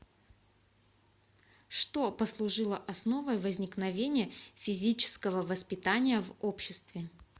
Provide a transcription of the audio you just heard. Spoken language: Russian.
что послужило основой возникновения физического воспитания в обществе